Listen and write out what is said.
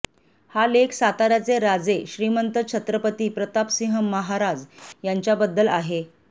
हा लेख साताऱ्याचे राजे श्रीमंत छत्रपती प्रतापसिंह महाराज यांच्याबद्दल आहे